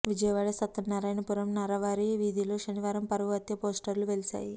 విజయవాడ సత్యనారాయణపురం నర్రావారి వీధిలో శనివారం పరువు హత్య పోస్టర్లు వెలిశాయి